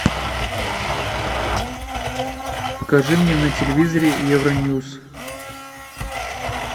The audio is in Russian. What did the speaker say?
покажи мне на телевизоре евроньюз